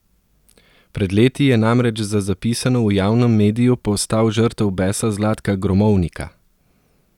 Pred leti je namreč za zapisano v javnem mediju postal žrtev besa Zlatka gromovnika!